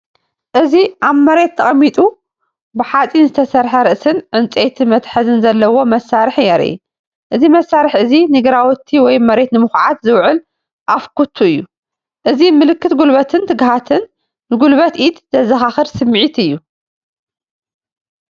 እዚ ኣብ መሬት ተቀሚጡ ብሓጺን ዝተሰርሐ ርእሲን ዕንጨይቲ መትሓዚን ዘለዎ መሳርሒ የርኢ። እዚ መሳርሒ እዚ ንግራውቲ ወይ መሬት ንምኹዓት ዝውዕል ኣፍ ኩቱ እዩ። እዚ ምልክት ጉልበትን ትግሃትን፡ ንጉልበት ኢድ ዘዘኻኽር ስምዒት እዩ።